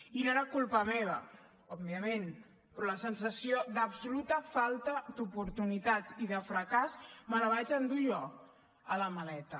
i no era culpa meva òbviament però la sensació d’absoluta falta d’oportunitats i de fracàs me la vaig endur jo a la maleta